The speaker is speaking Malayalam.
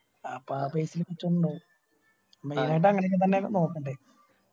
അപ്പൊ ആ main ആയിട്ട് അങ്ങനൊക്കെ തന്നെയാ നോക്കണ്ടേ